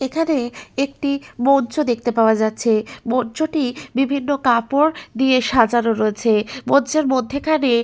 এখানে একটি মঞ্চ দেখতে পাওয়া যাচ্ছে মঞ্চ টি বিভিন্ন কাপড় দিয়ে সাজানো রয়েছে। মঞ্চের মধ্যেখানে --